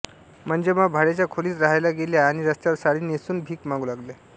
मंजम्मा भाड्याच्या खोलीत राहायला गेल्या आणि रस्त्यावर साडी नेसून भीक मागू लागल्या